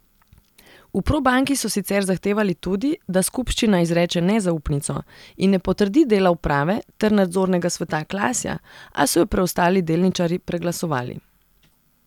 V Probanki so sicer zahtevali tudi, da skupščina izreče nezaupnico in ne potrdi dela uprave ter nadzornega sveta Klasja, a so jo preostali delničarji preglasovali.